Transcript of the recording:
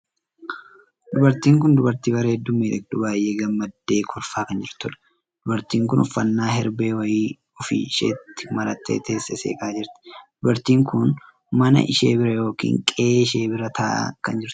Dubartiin kun dubartii bareedduu fi miidhagduu baay'ee gammaddee kolfaa kan jirtudha. dubartiin kun uffannaa herbee wayii of isheetti marattee teessee seeqaa jirti. dubartiin kun mana ishee bira ykn qe'ee ishee bira taa'aa kan jirtudha.